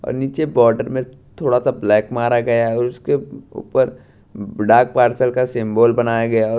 और नीचे बॉर्डर में थोड़ा सा ब्लैक मारा गया है उसके ऊपर डाक पार्सल का सिंबल बनाया गया है और--